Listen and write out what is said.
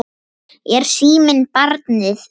Er síminn barnið þitt?